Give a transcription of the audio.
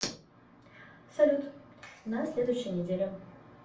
салют на следующей неделе